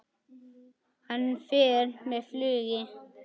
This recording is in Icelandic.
Hann fer með flugi.